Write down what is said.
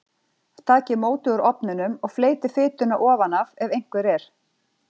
Takið mótið úr ofninum og fleytið fituna ofan af ef einhver er.